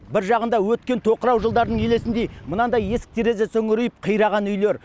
бір жағында өткен тоқырау жылдарының елесіндей мынандай есік терезесі үңірейіп қираған үйлер